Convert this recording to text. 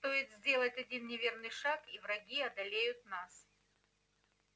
стоит сделать один неверный шаг и враги одолеют нас